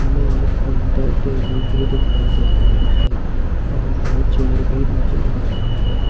हमें एक counter table भी दिखाई दे रहा है और दो चेयर भी नजर आ रही है।